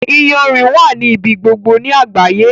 Iyanrìn wà ní ibi gbogbo ni àgbáyé.